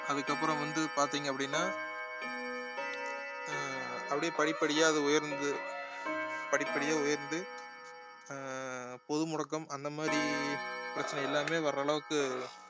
அதுக்கப்புறம் வந்து பார்த்தீங்க அப்படின்னா அஹ் அப்படியே படிப்படியா அது உயர்ந்து படி படியா உயர்ந்து அஹ் பொது முடக்கம் அந்த மாதிரி பிரச்சினை எல்லாமே வர்ற அளவுக்கு